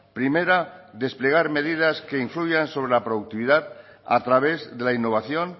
primera desplegar medidas que influyan sobre la productividad a través de la innovación